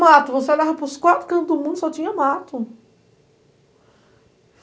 Mato, você olhava para os quatro cantos do mundo e só tinha mato.